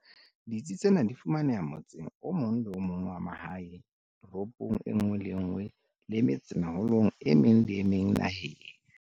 Ditsi tsena di fumaneha motseng o mong le o mong wa mahae, toropong e nngwe le e nngwe le metsemeholong e meng le e meng naheng.